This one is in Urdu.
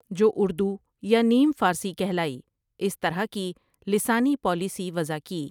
جو اردو یا نیم فارسی کہلائی اس طرح کی لسانی پالیسی وضع کی ۔